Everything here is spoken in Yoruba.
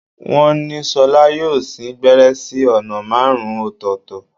Wọ́n ní ṣọlá yóò sín gbẹ́rẹ́ sí ọ̀nà márùn-ún ọ̀tọ̀ọ̀tọ̀